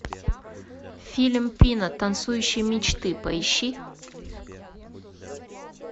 фильм пина танцующие мечты поищи